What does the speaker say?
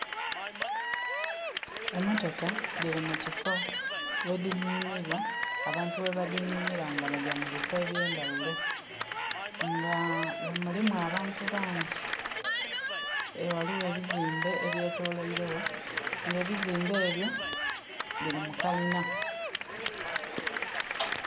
Emotoka diri mu kifo we dininirwa, abantu we badininira nga bajja mu bifo ebyendawulo nga mulimu abantu bangi, waliwo ebizimbe ebyetoloirewo nga ebizimbe ebyo biri mukalina